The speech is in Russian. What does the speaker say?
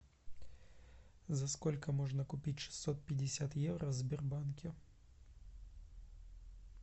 за сколько можно купить шестьсот пятьдесят евро в сбербанке